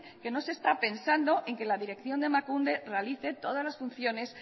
que no se está pensando en que la dirección de emakunde realice todas las funciones